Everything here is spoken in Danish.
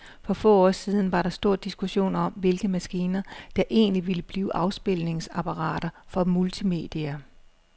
For få år siden var der stor diskussion om, hvilke maskiner, der egentlig ville blive afspilningsapparater for multimedia.